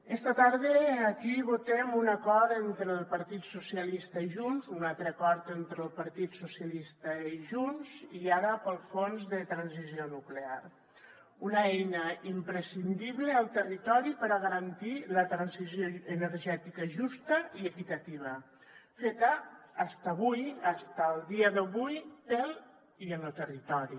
esta tarda aquí votem un acord entre el partit socialista i junts un altre acord entre el partit socialista i junts i ara pel fons de transició nuclear una eina imprescindible al territori per a garantir la transició energètica justa i equitativa feta fins avui fins el dia d’avui pel i en lo territori